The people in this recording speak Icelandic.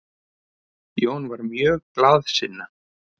Jón var mjög glaðsinna.